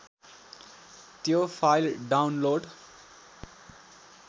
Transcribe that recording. त्यो file download